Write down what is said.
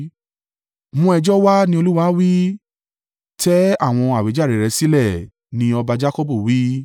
“Mú ẹjọ́ wá,” ni Olúwa wí. “Tẹ́ àwọn àwíjàre rẹ sílẹ̀,” ni ọba Jakọbu wí,